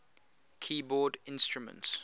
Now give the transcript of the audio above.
keyboard instruments